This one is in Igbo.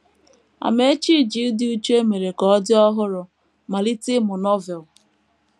Amaechi ji ịdị uchu e mere ka ọ dị ọhụrụ malite ịmụ Novel.